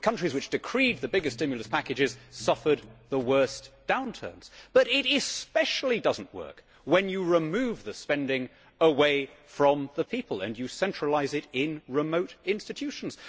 The countries which decreed the biggest stimulus packages suffered the worst downturns. But it especially does not work when you remove the spending away from the people and you centralise it in remote institutions.